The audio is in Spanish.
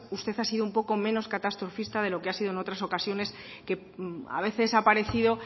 usted ha sido un poco menos catastrofista de lo que ha sido en otras ocasiones que a veces ha parecido